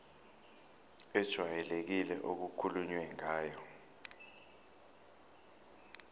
ejwayelekile okukhulunywe ngayo